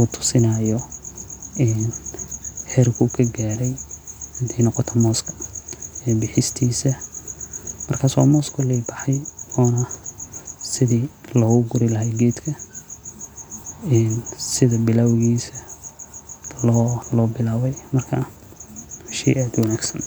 u tusinayo een xerku kagarey, xadhay nogoto mosska, bixistisa, markas wa moss koley baxay, ona sidhi logagurilaxay qeedka , een sidha bilawgisa, lobilawey, marka wa shey aad uwanagsan.